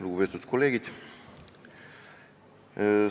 Lugupeetud kolleegid!